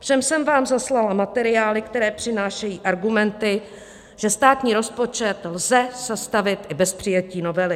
Všem jsem vám zaslala materiály, které přinášejí argumenty, že státní rozpočet lze sestavit i bez přijetí novely.